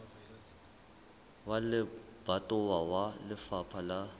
wa lebatowa wa lefapha la